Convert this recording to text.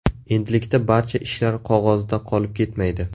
Endilikda barcha ishlar qog‘ozda qolib ketmaydi.